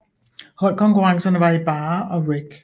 Holdkonkurrencerne var i barre og reck